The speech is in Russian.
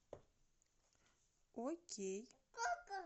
окей